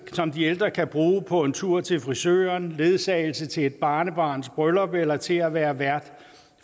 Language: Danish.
de ældre kan bruge på en tur til frisøren ledsagelse til et barnebarns bryllup eller til at være vært